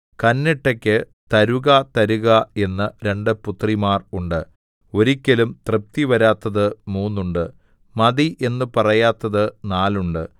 കന്നട്ടയ്ക്കു തരുക തരുക എന്ന രണ്ടു പുത്രിമാർ ഉണ്ട് ഒരിക്കലും തൃപ്തിവരാത്തത് മൂന്നുണ്ട് മതി എന്നു പറയാത്തത് നാലുണ്ട്